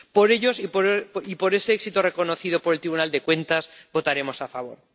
Por ellos y por ese éxito reconocido por el Tribunal de Cuentas votaremos a favor.